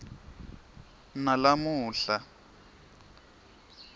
nalamuhla